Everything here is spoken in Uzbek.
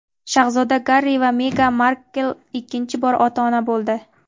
Shahzoda Garri va Megan Markl ikkinchi bor ota-ona bo‘ldi.